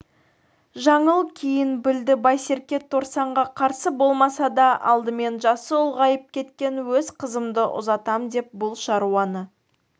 жаңыл кейін білді байсерке торсанға қарсы болмаса да алдымен жасы ұлғайып кеткен өз қызымды ұзатам деп бұл шаруаны